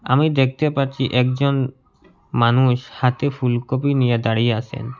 আমি দেখতে পাচ্ছি একজন মানুষ হাতে ফুলকপি নিয়ে দাঁড়িয়ে আসেন।